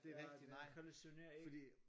Ja det hallucinerer ikke